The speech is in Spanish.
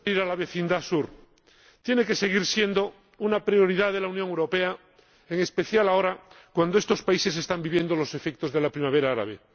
Señora Presidenta, la vecindad sur tiene que seguir siendo una prioridad de la Unión Europea, en especial ahora, cuando estos países están viviendo los efectos de la Primavera Árabe.